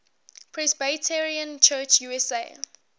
presbyterian church usa